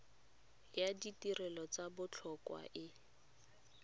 ya ditirelo tsa botlhokwa e